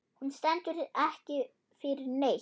Hún stendur ekki fyrir neitt.